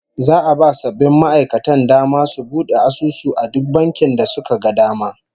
Za'a ba sabbin ma'aikatan dama su bude asusu a duk bankin da suka ga dama